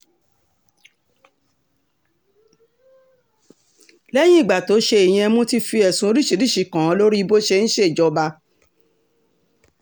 lẹ́yìn ìgbà tó ṣe ìyẹn mo ti fi ẹ̀sùn oríṣiríṣiì kàn án lórí bó ṣe ń ṣèjọba